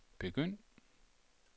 begynd